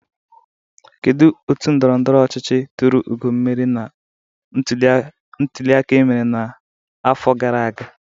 Kedụ otu ndọrọndọrọ ọchịchị turu ugo mmeli na ntuliaka emere na ahọ gara aga?